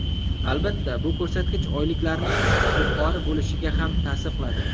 Albatta, bu ko‘rsatkich oyliklarning yuqori bo‘lishiga ham ta’sir qiladi.